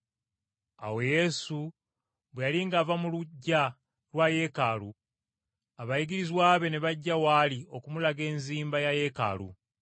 Awo Yesu bwe yali ng’ava mu luggya lwa Yeekaalu, abayigirizwa be ne bajja w’ali okumulaga enzimba ya Yeekaalu,